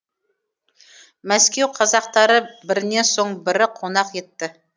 мәскеу қазақтары бірінен соң бірі қонақ етті